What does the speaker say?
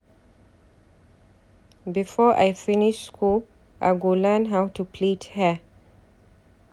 Before I finish skool, I go learn how to plait hear.